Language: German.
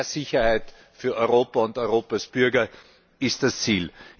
mehr Sicherheit für Europa und Europas Bürger ist das Ziel.